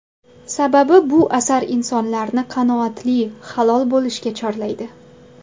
Sababi bu asar insonlarni qanoatli, halol bo‘lishga chorlaydi.